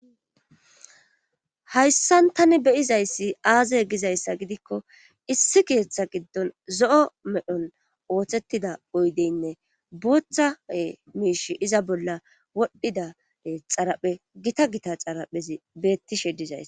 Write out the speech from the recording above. hayssan tani be'izayssi aaze gizayssa gidikko issi keeththa giddon zo'o medhon ooththettida oydeynne booththae miish iza bolla wodhdhidi xaraphe gita gita xaraphezi beettishe dizays